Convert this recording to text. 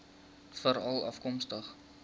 veralafkomstig